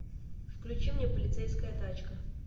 включи мне полицейская тачка